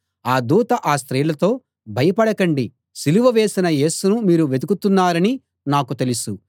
ఆ దూత ఆ స్త్రీలతో భయపడకండి సిలువ వేసిన యేసును మీరు వెతుకుతున్నారని నాకు తెలుసు